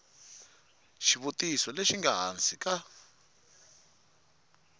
xivutiso lexi nga hansi ka